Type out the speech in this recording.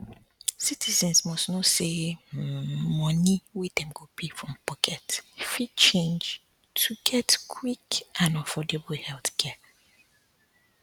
citizens must know say um money wey dem go pay from pocket fit change to get um quick and affordable healthcare